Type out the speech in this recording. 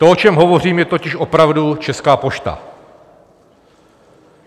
To, o čem hovořím, je totiž opravdu Česká pošta.